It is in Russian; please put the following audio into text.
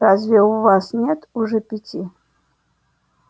разве у вас нет уже пяти